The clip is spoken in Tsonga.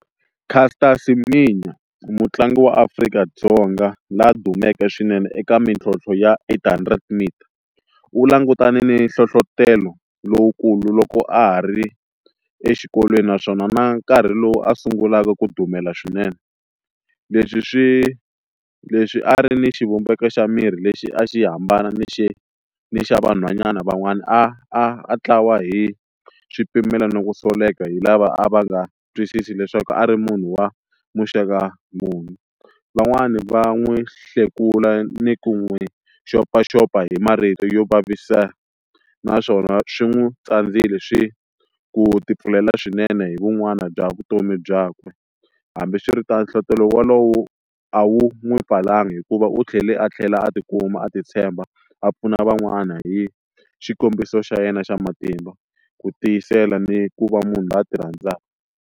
Caster Semenya mutlangi wa Afrika-Dzonga laha dumeke swinene eka mintlhontlho ya eight hundred meters u langutane ni nhlohlotelo lowukulu loko a ha ri exikolweni naswona na nkarhi lowu a sungulaka ku dumela swinene leswi swi leswi a ri ni xivumbeko xa miri lexi a xi hambana ni xi ni xa vanhwanyana van'wana a ntlawa hi swipimelo no ku soleka hi lava a va nga twisisi leswaku a ri munhu wa muxaka muni, van'wani va n'wi hlekula ni ku n'wi xopaxopa hi marito yo vavisana naswona swi n'wi tsandzile swi ku tipfulela swinene hi vun'wana bya vutomi byakwe hambi swi ri ta nhlohlotelo walowo a wu n'wi pfalanga hikuva u tlhele a tlhela a tikuma a ti tshemba a pfuna van'wana hi xikombiso xa yena xa matimba ku tiyisela ni ku va munhu loyi a ti rhandzaka.